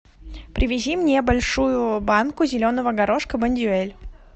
привези мне большую банку зеленого горошка бондюэль